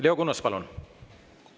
Leo Kunnas, palun!